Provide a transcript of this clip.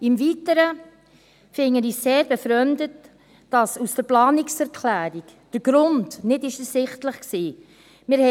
Im Weiteren finde ich es sehr befremdend, dass aus der Planungserklärung der Grund nicht ersichtlich war.